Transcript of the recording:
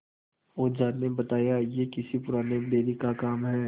ओझा ने बताया यह किसी पुराने बैरी का काम है